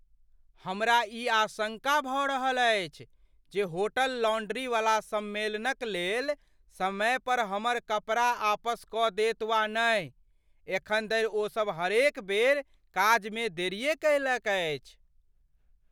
हमरा ई आशङ्का भऽ रहल अछि जे होटल लॉन्ड्रीवला सम्मेलनकलेल समय पर हमर कपड़ा आपस कऽ देत वा नहि। एखन धरि ओसभ हरेक बेर काजमे देरिए कयलक अछि।